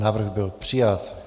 Návrh byl přijat.